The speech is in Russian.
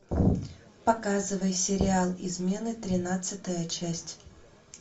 показывай сериал измены тринадцатая часть